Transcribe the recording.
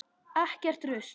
Ekkert rusl.